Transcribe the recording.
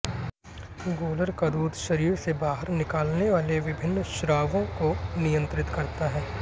गूलर का दूध शरीर से बाहर निकालने वाले विभिन्न स्रावों को नियंत्रित करता है